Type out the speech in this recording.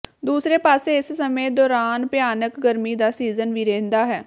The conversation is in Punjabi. ਦੂਸਰੇ ਪਾਸੇ ਇਸ ਸਮੇਂ ਦੌਰਾਨ ਭਿਆਨਕ ਗਰਮੀ ਦਾ ਸੀਜ਼ਨ ਵੀ ਰਹਿੰਦਾ ਹੈ